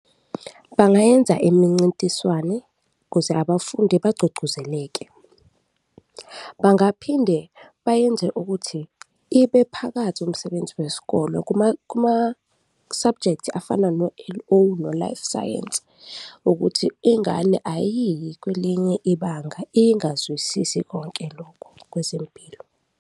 Bangayenza imincintiswane ukuze abafundi bagqugquzeleke. Bangaphinde bayenze ukuthi ibe phakathi umsebenzi wesikolo kuma-subject afana no-L_O no-life science ukuthi ingane ayiyi kwelinye ibanga ingazwisisi konke lokho kwezempilo.